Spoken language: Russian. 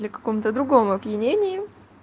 или каком-то другом опьянении